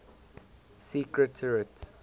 secretariat